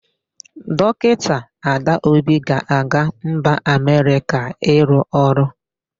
Dọkịta Adaobi ga-aga mba Amerịka ịrụ ọrụ.